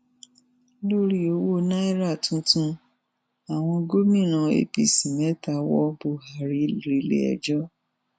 lórí owó náírà tuntun àwọn gómìnà apc mẹ́ta wọ́ buhari reléẹjọ́